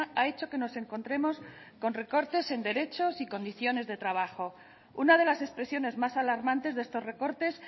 ha hecho que nos encontremos con recortes en derechos y condiciones de trabajo una de las expresiones más alarmantes de estos recortes